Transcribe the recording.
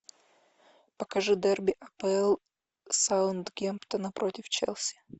покажи дерби апл саутгемптона против челси